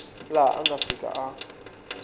laha a nga fika a